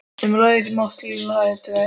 Um leið finn ég máttleysið heltaka mig.